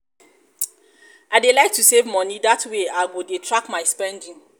i dey like to save money dat way i go dey track my spending